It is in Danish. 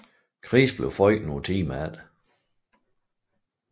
Chris blev født nogle timer efter